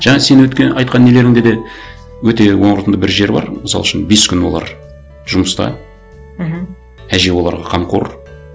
жаңа сен айтқан нелерінде де өте орынды бір жер бар мысал үшін бес күн олар жұмыста мхм әже оларға қамқор